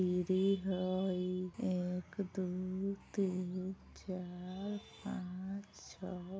एक दो तीन चार पांच छः --